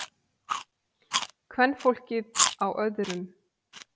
Kvenfólkið á öðrum.